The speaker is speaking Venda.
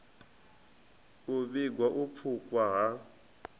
u vhiga u pfukhwa ha